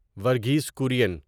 Verghese Korean